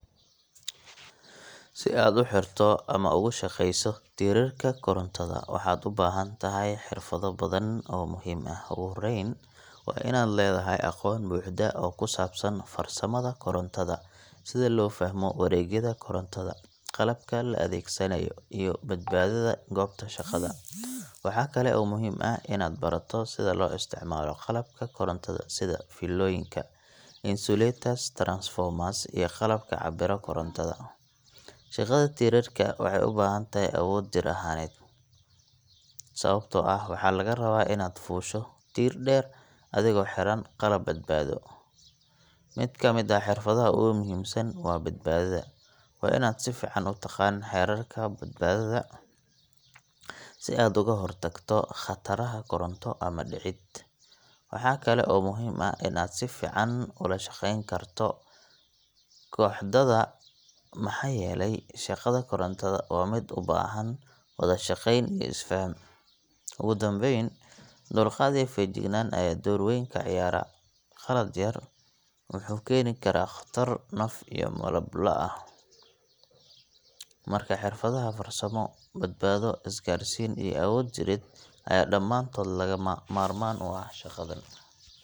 Si aad u xirto ama ugu shaqeyso tiirarka korontada, waxaad u baahan tahay xirfado badan oo muhiim ah. Ugu horreyn waa inaad leedahay aqoon buuxda oo ku saabsan farsamada korontada – sida loo fahmo wareegyada korontada, qalabka la adeegsanayo, iyo badbaadada goobta shaqada. Waxaa kale oo muhiim ah inaad barato sida loo isticmaalo qalabka korontada sida fiilooyinka, insulators, transformers, iyo qalabka cabbira korontada. Shaqada tiirarka waxay u baahan tahay awood jir ahaaneed, sababtoo ah waxaa lagaa rabaa inaad fuusho tiir dheer adigoo xiran qalab badbaado. Mid ka mid ah xirfadaha ugu muhiimsan waa badbaadada – waa inaad si fiican u taqaan xeerarka badbaadada si aad uga hortagto khataraha koronto ama dhicid. Waxaa kale oo muhiim ah in aad si fiican ula shaqeyn karto kooxdaada, maxaa yeelay shaqada korontada waa mid u baahan wada-shaqeyn iyo isfaham. Ugu dambeyn, dulqaad iyo feejignaan ayaa door weyn ka ciyaara qalad yar wuxuu keeni karaa khatar naf iyo maalba leh. Marka, xirfadaha farsamo, badbaado, isgaarsiin, iyo awood jireed ayaa dhammaantood lagama maarmaan u ah shaqadan.